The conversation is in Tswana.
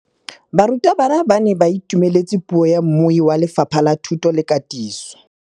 Barutabana ba ne ba itumeletse puô ya mmui wa Lefapha la Thuto le Katiso.